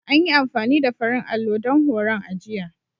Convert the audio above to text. An yi amfani da farin allo don horon a jiya.